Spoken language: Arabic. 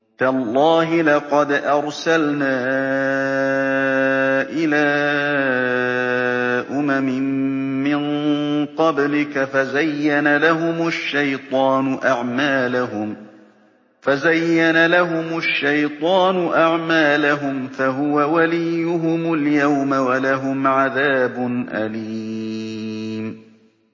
تَاللَّهِ لَقَدْ أَرْسَلْنَا إِلَىٰ أُمَمٍ مِّن قَبْلِكَ فَزَيَّنَ لَهُمُ الشَّيْطَانُ أَعْمَالَهُمْ فَهُوَ وَلِيُّهُمُ الْيَوْمَ وَلَهُمْ عَذَابٌ أَلِيمٌ